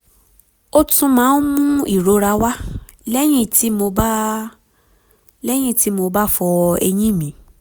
ó um tún máa ń um mú ìrora wá lẹ́yìn tí lẹ́yìn tí mo bá fọ um eyín mi